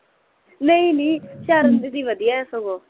ਨਈ ਨਈ ਸ਼ਰਨ ਦੀਦੀ ਹਮ ਵਧੀਆ ਏ ਸਗੋਂ